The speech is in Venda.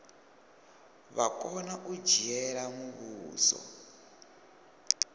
vha kona u dzhiela muvhuso